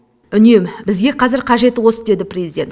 үнем бізге қазір қажеті осы деді президент